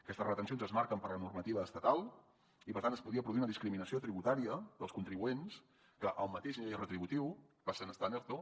aquestes retencions es marquen per la normativa estatal i per tant es podia produir una discriminació tributària dels contribuents que al mateix nivell retributiu passen a estar en erto